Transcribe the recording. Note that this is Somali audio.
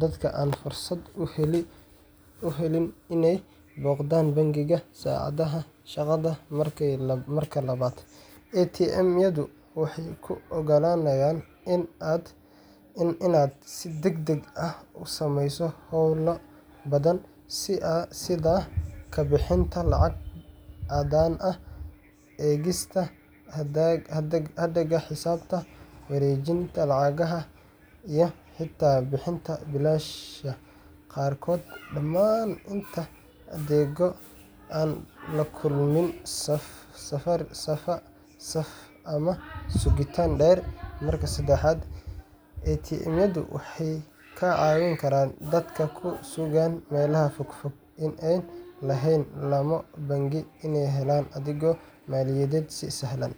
dadka aan fursad u helin inay booqdaan bangiga saacadaha shaqada. Marka labaad, ATM-yadu waxay kuu oggolaanayaan inaad si degdeg ah u sameyso howlo badan sida ka bixinta lacag caddaan ah, eegista hadhaaga xisaabta, wareejinta lacagaha iyo xitaa bixinta biilasha qaarkood dhammaan intaa adigoo aan la kulmin saf ama sugitaan dheer. Marka saddexaad, ATM-yadu waxay ka caawin karaan dadka ku sugan meelaha fogfog ee aan lahayn laamo bangi inay helaan adeegyo maaliyadeed si sahlan.